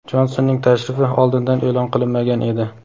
Jonsonning tashrifi oldindan eʼlon qilinmagan edi.